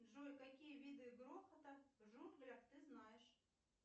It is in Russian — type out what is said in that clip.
джой какие виды грохота в джунглях ты знаешь